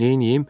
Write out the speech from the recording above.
Neynəyim?